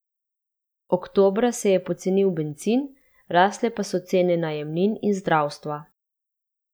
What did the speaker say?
Oktobra se je pocenil bencin, rasle pa so cene najemnin in zdravstva.